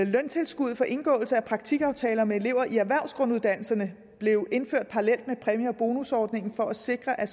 løntilskuddet for indgåelse af praktikaftaler med elever i erhvervsgrunduddannelserne blev indført parallelt med præmie og bonusordningen for at sikre at